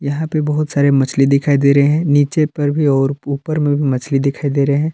यहां पे बहुत सारे मछली दिखाई दे रहे हैं नीचे पर भी और ऊपर में भी मछली दिखाई दे रहे हैं।